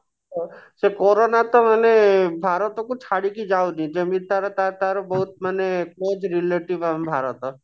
ଅ ସେ କୋରୋନା ତ ମାନେ ଭାରତ କୁ ଛାଡିକି ଯାଉନି ଯେମିତି ତାର ତାର ତାର ବହୁତ ମାନେ close relative ଆମ ଭାରତ